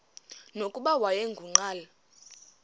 nokuba wayengu nqal